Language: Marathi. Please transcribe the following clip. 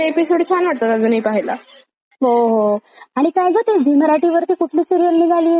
हो हो. आणि काय गं ती झी मराठी वरती कुठली सीरिअल निघाली होती? ती राधिका होती बघ..